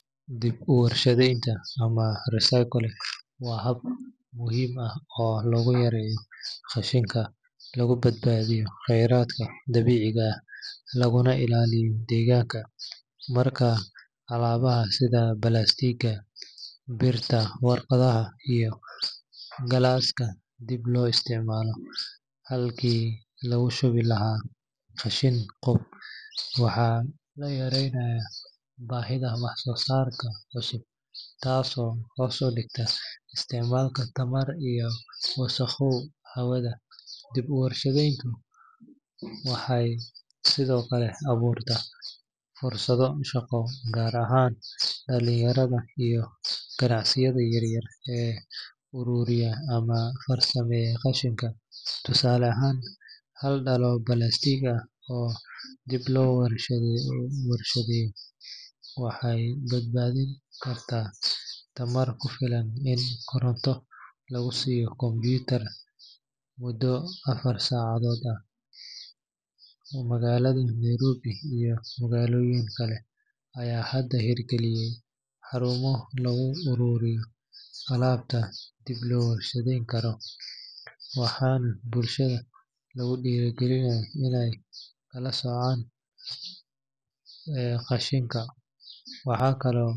Dib uwar shadenta ama recycling waa hab muhiim ah oo lagu yareeyo qashinka, lagu badbadiiyo kheradka dabiiciga ah laguna ilaaliyo degaanka, alabaha sida warqadaha iyo birta, galaska dib loo isticmaalo halki lagu shubi lahaa qashin qub, waxaa la yareynaya bahida wax soo saarka cusub kaas oo hoos udigto wax soo saarka hawada, dib uwar shadenta waxaay sido kale abuurta fursado shaqo gaar ahaan dalinyarada iyo ganacsiyada yaryar, oo aruuriya qashinka, tusaale ahaan hal dala oo balastiig ah oo dib loo warshadeeyo waxaay badbadin karta tamar kufilan in koronto lagu siiyo computer ,mudo afar sacadood ah, magalada Nairobi iyo magalooyin kale ayaa hada hiir galiye xaruumo lagu aruuriyo alaabta dib loo warshadeen karo, waxaa bulshada lagu diiri galinaya inaay kala socaan qashinka.